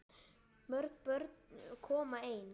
Mörg börn koma ein.